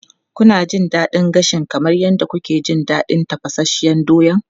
Kuna jin daɗin gashi kamar yadda kuke jin daɗin tafasasshen doya?